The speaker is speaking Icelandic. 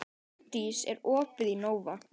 Linddís, er opið í Nova?